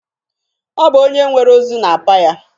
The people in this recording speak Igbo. Ọ bụ onye nwere ozu na-apa ya.